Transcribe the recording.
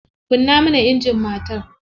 Kunna mana injin matar.